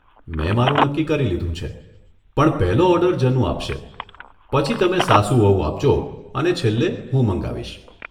મેં મારું નક્કી કરી લીધું છે, પણ પહેલો ઓર્ડર જનુ આપશે પછી તમે સાસુ વહુ આપજો અને છેલ્લે હું મંગાવીશ.